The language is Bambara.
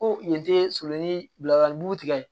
Ko yen te surun bilalibugu tigɛ